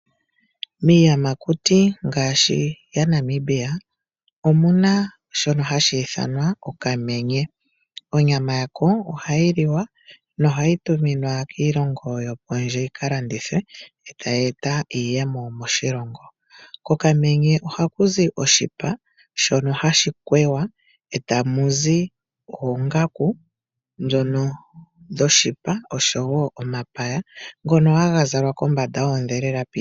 Miiyamakuti ngaashi yaNamibia omu na shono hashi ithanwa okamenye. Onyama yako ohayi liwa nohayi tuminwa kiilongo yokondje yi ka landithwe yo tayi eta iiyemo moshilongo. Kokamenye ohaku zi oshipa shono hashi kweya e tamu zi oongaku dhoshipa noshowo omapaya ngono haga zalwa kombanda yoondhelela piituthi.